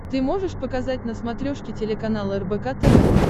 ты можешь показать на смотрешке телеканал рбк тв